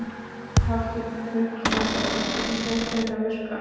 Hafsteinn Hauksson: Og hvernig finnst þér þetta virka?